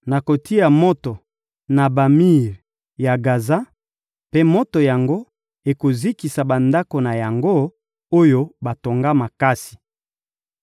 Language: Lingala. Nakotia moto na bamir ya Gaza, mpe moto yango ekozikisa bandako na yango, oyo batonga makasi.